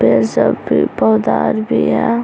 पेड़ सब भी पौधा-आर भी है।